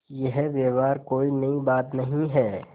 यह व्यवहार कोई नई बात नहीं है